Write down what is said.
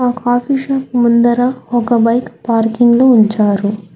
Coffee shop ముందర ఒక bike parking లో ఉంచారు.